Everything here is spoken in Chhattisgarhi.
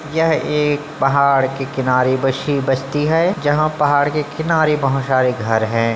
यह एक पहाड़ के किनारे बसी बस्ती है जहाँ पहाड़ के किनारे बहुत सारे घर हैं ।